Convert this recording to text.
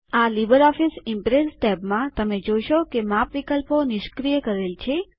આ LibreOffice Impress ટેબમાં તમે જોશો કે માપ વિકલ્પો નિષ્ક્રિય કરેલ છે